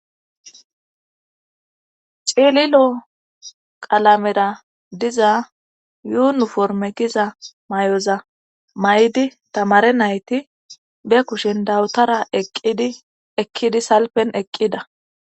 Cililo qalamera diza yuunuforme kiza may'oza may'di tamare nayti be kushen dawutara eqqidi ekkidi salpen eqqida.